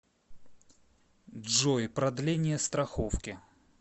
джой продление страховки